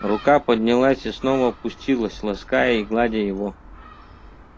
рука поднялась и снова опустилась лаская и гладя его